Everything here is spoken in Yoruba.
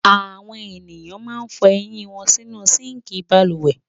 Àwọn ènìyàn máa ń fọ eyín wọn sínú síńkì balùwẹ̀.